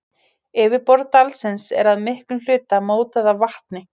Yfirborð dalsins er að miklum hluta mótað af vatni.